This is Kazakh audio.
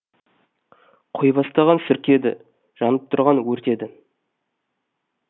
қой бастаған серке еді жанып тұрған өрт еді